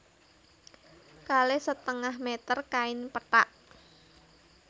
Kalih setengah méter kain pethak